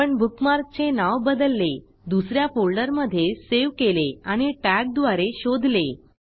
आपण बुकमार्कचे नाव बदलले दुस या फोल्डरमधे सेव्ह केले आणि टॅगद्वारे शोधले